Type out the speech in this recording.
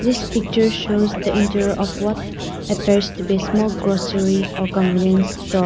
this picture shows the interior of what appears to be small grocery or convenience store.